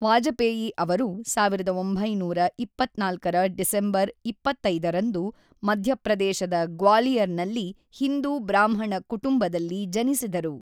ವಾಜಪೇಯಿ ಅವರು ೧೯೨೪ ರ ಡಿಸೆಂಬರ್ ೨೫ ರಂದು ಮಧ್ಯಪ್ರದೇಶದ ಗ್ವಾಲಿಯರ್ ನಲ್ಲಿ ಹಿಂದೂ ಬ್ರಾಹ್ಮಣ ಕುಟುಂಬದಲ್ಲಿ ಜನಿಸಿದರು.